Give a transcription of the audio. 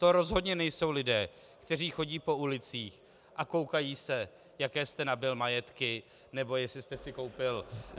To rozhodně nejsou lidé, kteří chodí po ulicích a koukají se, jaké jste nabyl majetky, nebo jestli jste si koupil -